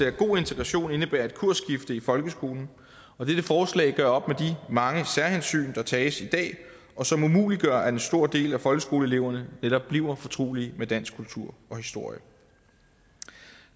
at god integration indebærer et kursskifte i folkeskolen og dette forslag gør op med de mange særhensyn der tages i dag og som umuliggør at en stor del af folkeskoleeleverne netop bliver fortrolige med dansk kultur og historie